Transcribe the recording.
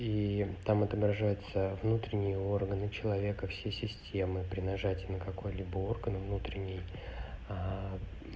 и там отображается внутренние органы человека все системы при нажатии на какой-либо орган внутренний